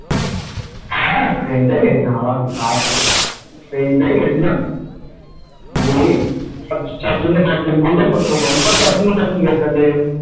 হ্যাঁ friend ই গিয়েছিলাম আবার কি friend গিয়েছিলাম ওই চার জন্য পাঁচজনই বললাম না তখন যার জন্য পাঁচজন গিয়েছিলাম যাই হোক,